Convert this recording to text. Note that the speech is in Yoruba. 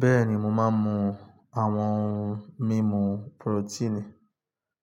Bẹ́ẹ̀ni mo máa ń mu àwọn ohun mímu porotíìnì